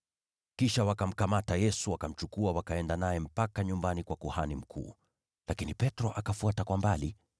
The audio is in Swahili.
Kisha wakamkamata Yesu, wakamchukua, wakaenda naye mpaka nyumbani kwa kuhani mkuu. Lakini Petro akafuata kwa mbali.